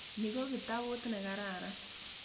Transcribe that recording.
Ni ko kitaput ne kararan.